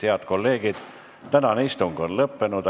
Head kolleegid, tänane istung on lõppenud.